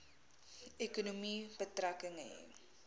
ekonomie betrekking hê